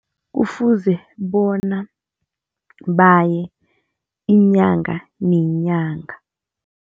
Kufuze bona baye inyanga nenyanga.